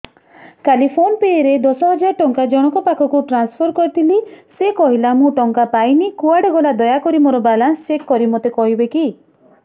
କାଲି PhonePe ରେ ଦଶ ହଜାର ଟଙ୍କା ଜଣକ ପାଖକୁ ଟ୍ରାନ୍ସଫର୍ କରିଥିଲି ସେ କହିଲା ମୁଁ ଟଙ୍କା ପାଇନି କୁଆଡେ ଗଲା ଦୟାକରି ମୋର ବାଲାନ୍ସ ଚେକ୍ କରି ମୋତେ କହିବେ କି